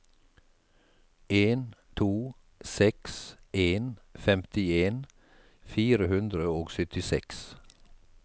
en to seks en femtien fire hundre og syttiseks